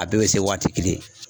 A bɛɛ bɛ se waati kelen.